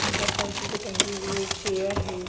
बहुत सारी चीजें टंगी हुई है एक चेयर है।